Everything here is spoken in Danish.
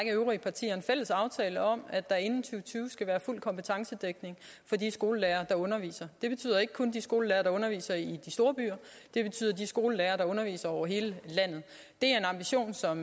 øvrige partier en fælles aftale om at der inden to tusind og tyve skal være fuld kompetencedækning for de skolelærere der underviser det betyder ikke kun de skolelærere der underviser i de store byer det betyder de skolelærere der underviser over hele landet det er en ambition som